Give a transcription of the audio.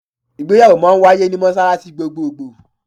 Ìgbéyàwó máa wáyé ní mọ́ṣáláṣí gbogbogbò.